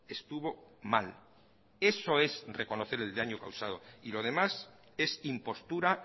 estuvo mal eso es reconocer el daño causado y lo demás es impostura